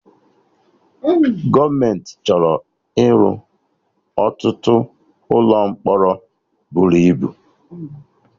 Gọọmenti chọrọ ịrụ ọtụtụ ụlọ mkpọrọ bụrụ ibu